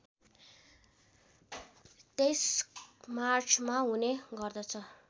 २३ मार्चमा हुने गर्दछ